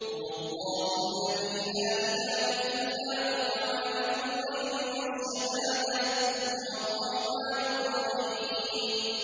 هُوَ اللَّهُ الَّذِي لَا إِلَٰهَ إِلَّا هُوَ ۖ عَالِمُ الْغَيْبِ وَالشَّهَادَةِ ۖ هُوَ الرَّحْمَٰنُ الرَّحِيمُ